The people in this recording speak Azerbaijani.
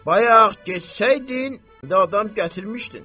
Bayaq getsəydin, indi adam gətirmişdin.